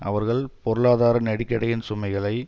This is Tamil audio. அவர்கள் பொருளாதார நெருக்கடியின் சுமைகளை